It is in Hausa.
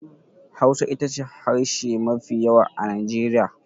Hausa ita ce harshe mafi yawa a Najeriya.